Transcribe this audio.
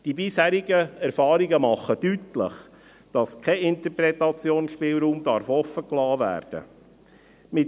Die bisherigen Erfahrungen machen deutlich, dass kein Interpretationsspielraum offengelassen werden darf.